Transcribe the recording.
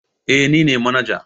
Eh ni ne manaja.